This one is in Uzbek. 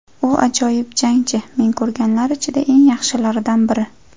U ajoyib jangchi, men ko‘rganlar ichida eng yaxshilardan biri.